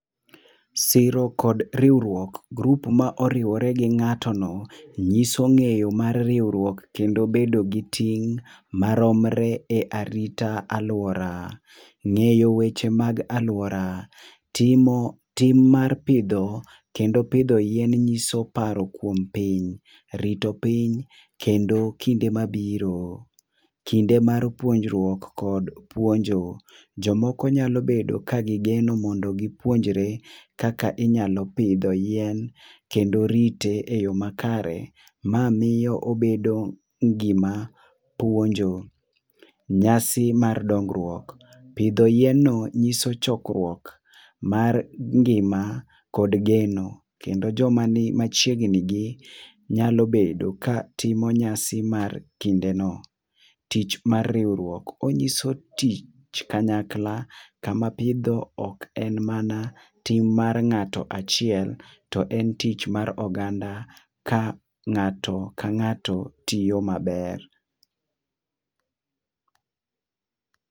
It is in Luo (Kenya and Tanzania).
siro kod riwruok, group ma oriwore gi ngato no nguso ngeyo mar riwruok kendo bedo gi ting ma romre e arita aluora, ngeyo weche mag aluora ,timo tim mar poudho kendo pidho yien ngiso paro kuom Piny rito piny kendo kinde ma biro. Kinde mar puonjruok kod puonjo, jo ma nya bedo ka gi geno mondo gi puonjre kaka inyalo pidho yien kendo rite e yo ma kare ma miyo obedo gi ma puonjo. Nyasi mar dongruok, pidho yien no ng'iso chokruok mar ngima kod geno kendo jo ma ni machiegni gi nyalo bedo ka ng'iso nyasi mar kinde no, tich mar riwruok, ong'iso tich kanyakla kama pidho ok en mana ting' mar ng'ato achiel to en tich mar oganda ka ng'ato ka ng'ato tiyo ma ber.